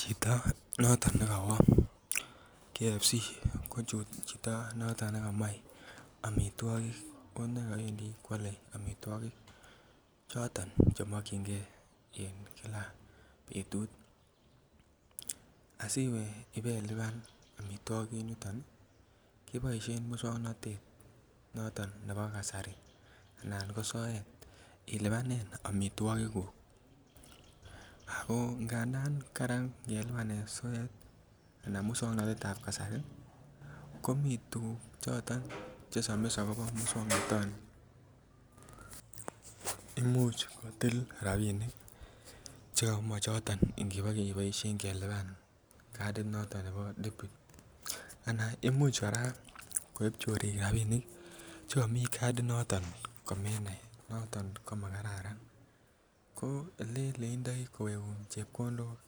Chito noton nekawo konyor chito noton nekamoe konekawendi koale amituogik choton chemokienge en Kila betut asiwe ibeluban amituakik en yuton keboisien musuaknotet noton nebo kasari anan ko soet ilubanen amituakik kuk ako ngandan kararan ngelubanen soet anan musuaknotet kasari ko mi tuguk choton che somis akobo musuaknotetab kasari imuch kotil rabinik chemo choton iniboeishen kelubani kadid noton nebo anan imuch kora koib chorik rabinik chemii kadid noton ko menai komakiunen. Ileinda kityo kowegun chebkondok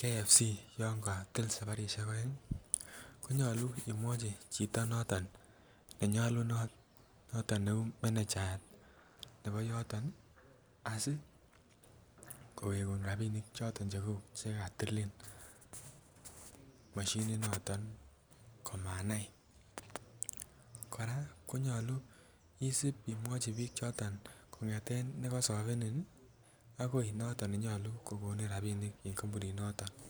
KFC yoon katil sabarisiek aeng konyolu imuai chito noton neuu menecha nebo yooton asi kowegun rabinik chekatil machinit noto komanai kora konyolu isip imwuchi biik chon kong'eten nekosobenii akoi noton nenyolu kokoni rabinik